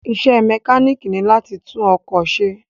Isẹ́ mẹkánìkì ni láti tún ọkọ̀ ṣe